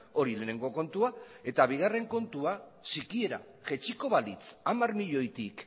hori lehenengo kontua eta bigarren kontua sikiera jaitsiko balitz hamar milioitik